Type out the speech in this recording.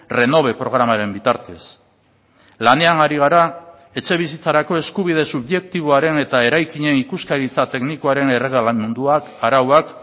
renove programaren bitartez lanean ari gara etxebizitzarako eskubide subjektiboaren eta eraikinen ikuskaritza teknikoaren erregelen munduak arauak